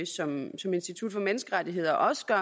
som institut for menneskerettigheder også gør